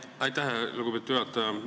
Aitäh, lugupeetud juhataja!